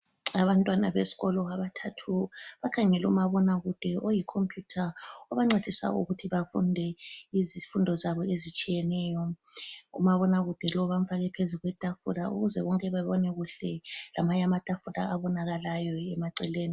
Abantwana besikolo abathathu bakhangele umabonakude oyi khompuyutha obancedisa ukuthi bafunde izifundo zabo ezitshiyeneyo , umabonakude lo bamfake phezulu kwetafula ukuze bonke babone kuhle ,lamanye amatafula abonakalayo eceleni